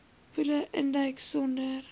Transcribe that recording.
poele induik sonder